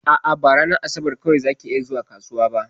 A'a, ba ranar asabar kawai zaki iya zuwa kasuwa ba.